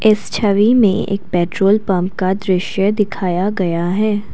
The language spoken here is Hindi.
इस छवि में एक पेट्रोल पंप का दृश्य दिखाया गया है।